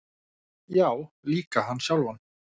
Já, líka hann sjálfan.